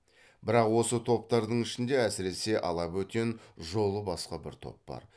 бірақ осы топтардың ішінде әсіресе ала бөтен жолы басқа бір топ бар